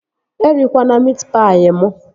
E rikwana miit paị mụ!